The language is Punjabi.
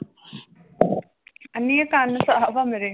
ਅੰਨੀਏ ਕੰਨ ਸਾਫ਼ ਆ ਮੇਰੇ।